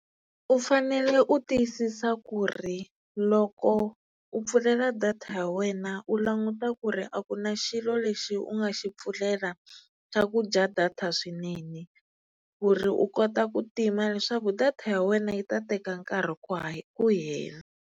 U fanele u tiyisisa ku ri loko u pfulela data ya wena u languta ku ri a ku na xilo lexi u nga xi pfulela xa ku dya data swinene ku ri u kota ku tima leswaku data ya wena yi ta teka nkarhi ku hela.